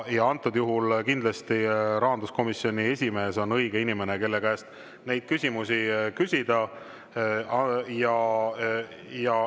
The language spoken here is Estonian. Antud juhul kindlasti rahanduskomisjoni esimees on õige inimene, kelle käest neid küsimusi küsida.